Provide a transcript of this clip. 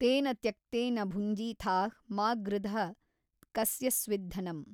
ತೇನ ತ್ಯಕ್ತೇನ ಭುಞ್ಜಿಥಾಃ ಮಾ ಗೃಧಃ ಕಸ್ಯ ಸ್ವಿದ್ ಧನಮ್।